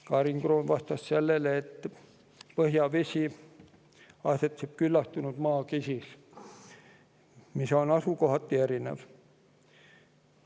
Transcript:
Karin Kroon vastas sellele, et põhjavesi asetseb küllastunud maakihis, mis on asukohati erinev.